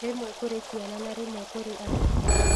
Rĩmwe kũrĩ ciana na rĩmwe kũrĩ andũ agima